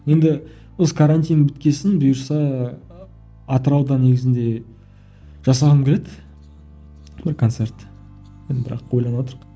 енді осы карантин біткен соң бұйырса атырауда негізінде жасағым келеді бір концерт енді бірақ